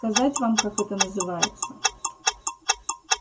сказать вам как это называется